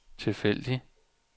tilfældig